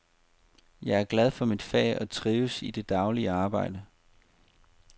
Jeg er glad for mit fag og trives i det daglige arbejde.